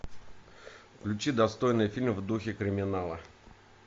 включи достойный фильм в духе криминала